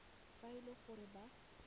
fa e le gore ba